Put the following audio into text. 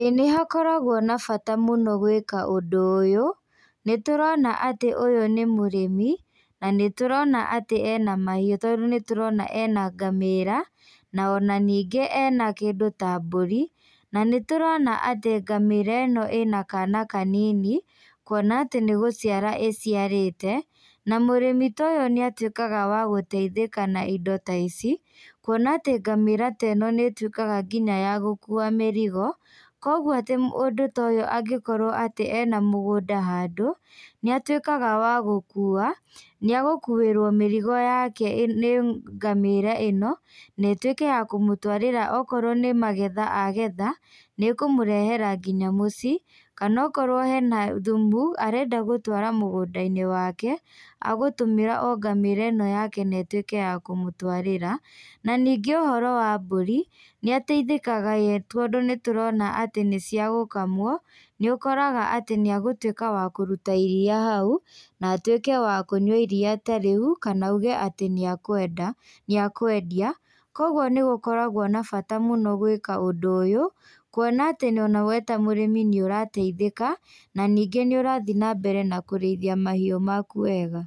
ĩĩ nĩ hakoragwo na bata muno gwĩka ũndũ ũyũ. Nĩtũrona atĩ ũyũ nĩ mũrĩmi, na nĩtũrona atĩ ena mahiũ tondũ nĩ tũrona ena ngamĩra, ona ningĩ ena kĩndũ ta mbũri. Na nĩ tũrona atĩ ngamĩa ĩno ĩna kana kanini, kuona atĩ nĩ gũciara ĩciarĩte. Na mũrĩmi taa ũyũ nĩ atuĩkaga wa gũteithika na indo ta ici. Kuona atĩ ngamĩra ta ĩno nĩ ĩtuikaga nginya ya gũkua mĩrigo, koguo atĩ mũndũ ta ũyũ angikorwo atĩ ena mũgũnda handũ, nĩ atuĩkaga wa gũkua, nĩ agũkuĩrwo mĩrigo yake nĩ ngamĩra ĩno. Na ĩtuĩke ya kũmũtũarĩra okorwo nĩ magetha agetha nĩ ĩkũmũrehera nginya mũciĩ. Kana akorwo hena thumu arenda gũtũara mũgũnda-inĩ wake, agũtũmĩra o ngamĩra ĩno yake na ĩtuĩke ya kũmũtũarĩra. Na ningĩ ũhoro wa mbũri, nĩateithĩkaga we tondũ nĩtũrona atĩ nĩ cia gũkamwo. Nĩ ũkoraga atĩ níagũtuĩka wa kũruta iria hau, na atuĩke wa kũnyua iria ta rĩu kana auge atĩ nĩakũenda, nĩakũendia. Koguo nĩ gũkoragwo na bata mũnene gwĩka ũndũ ũyũ, kuona atĩ we ta mũrĩmi nĩ ũrateithĩka na ningĩ nĩ ũrathiĩ na mbere na kũrĩithia mahiũ maku wega.